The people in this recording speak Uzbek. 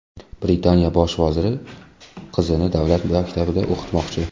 Britaniya bosh vaziri qizini davlat maktabida o‘qitmoqchi.